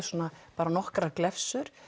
bara svona nokkrar glefsur